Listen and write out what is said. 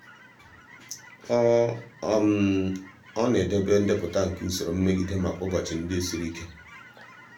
ọ ọ na-edobe ndepụta nke usoro mmegide maka ụbọchị ndị siri ike.